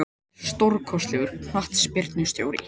Hann er stórkostlegur knattspyrnustjóri.